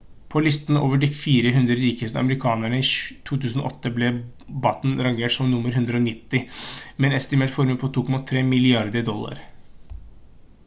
på listen over de 400 rikeste amerikanerne i 2008 ble batten rangert som nr 190 med en estimert formue på 2,3 milliarder dollar